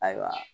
Ayiwa